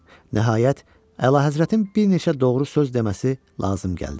Nəhayət, əlahəzrətin bir neçə doğru söz deməsi lazım gəldi.